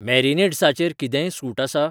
मॅरिनेड्सा चेर कितेंय सूट आसा ?